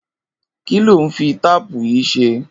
Kiló n fi táàpù yi ṣé?